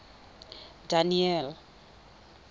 daniel